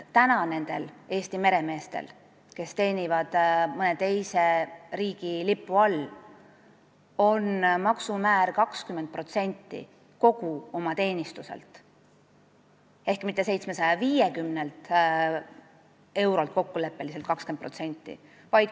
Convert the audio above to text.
Praegu on nendel Eesti meremeestel, kes teenivad mõne teise riigi lipu all, maksumäär 20% kogu oma teenistuselt, mitte kokkuleppeliselt 750 eurolt.